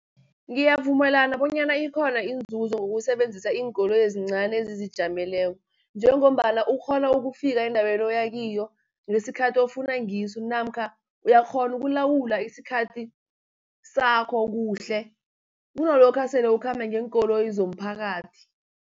Ngiyavumelana bonyana ikhona inzuzo ngokusebenzisa iinkoloyi ezincani ezizijameleko, njengombana ukghona ukufika endaweni oya kiyo, ngesikhathi ofuna ngiso, namkha uyakghona ukulawula isikhathi sakho kuhle kunalokha sele ukhamba ngeenkoloyi zomphakathi.